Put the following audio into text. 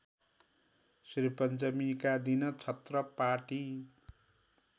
श्रीपञ्चमीका दिन छत्रपाटी